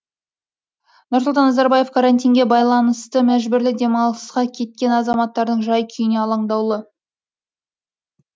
нұрсұлтан назарбаев карантинге байланысты мәжбүрлі демалысқа кеткен азаматтардың жай күйіне алаңдаулы